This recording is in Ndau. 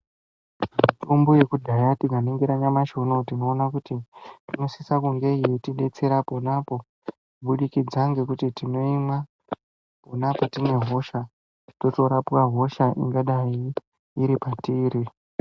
Mitombo yekudhaya tikaningira nyamashi uneyi tinoona inosisa kunge yeitidetsera ponapo kubudikidza ngekuti tinoimwa pona patine hosha totorapwa hosha iripatiri.